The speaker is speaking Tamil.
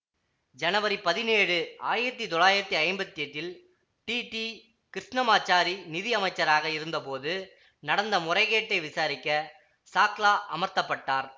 ஜனவரி பதினேழு ஆயிரத்தி தொள்ளாயிரத்தி ஐம்பத்தி எட்டில் டி டி கிருஷ்ணமாச்சாரி நிதி அமைச்சராக இருந்தபோது நடந்த முறைகேட்டை விசாரிக்க சாக்ளா அமர்த்த பட்டார்